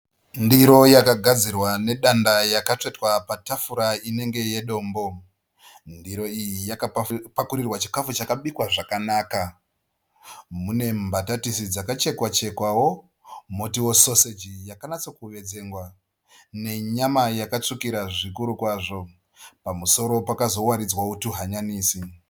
Ndiro yakagadzirwa nedanda yakatsvetwa patafura inenge yedombo. Ndiro iyi yakapakurirwa chikafu chakabikwa zvakanaka. Mune mbatatisi dzakachekwa chekwa wo motiwo soseji yakanyatsa kuwedzengwa. Nenyama yakatsvukira zvikuru kwazvo. Pamusoro pakazowaridzwawo tu hanyanisi.